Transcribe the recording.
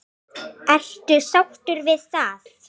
Lóa: Ertu sáttur við það?